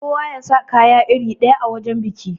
Kowa yasa kaya iri ɗaya a wajan biki.